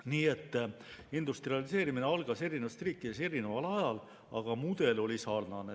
Nii et industrialiseerimine algas eri riikides erineval ajal, aga mudel oli sarnane.